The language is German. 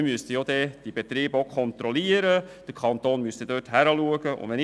Wir müssten die Betriebe auch kontrollieren, und der Kanton müsste die Funktionsweise überprüfen.